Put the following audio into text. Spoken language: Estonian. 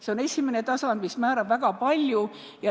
See on esimene tasand, mis määrab väga palju.